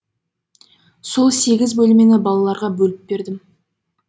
сол сегіз бөлмені балаларға бөліп бердім